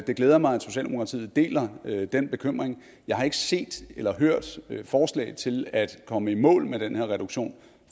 det glæder mig at socialdemokratiet deler den bekymring jeg har ikke set eller hørt forslag til at komme i mål med den her reduktion